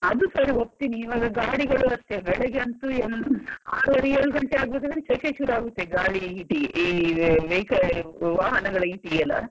ಅದು ಸರಿ ಒಪ್ತೀನಿ ಇವಾಗ ಗಾಡಿಗಳು ಅಷ್ಟೇ ಬೆಳಿಗ್ಗೆ ಅಂತೂ ಆರೂವರೆ ಏಳು ಗಂಟೆ ಆಗ್ಬೇಕಾದ್ರೆ ಶೆಕೆ ಶುರುವಾಗ್ತದೆ. ಗಾಳಿ heat ಈ vehicle ವಾಹನಗಳ heat ಗೆ ಎಲ್ಲಾ.